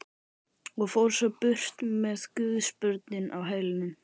Og fór svo burt með guðsbörnin á hælunum.